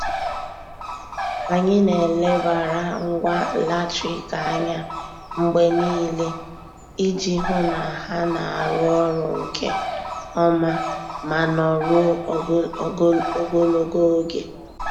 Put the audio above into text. Anyị na-elebara ngwa latrik anya mgbe niile iji hụ na ha na-arụ ọrụ nke ọma ma nọruo ogologo oge.